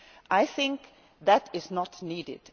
I think that is not needed.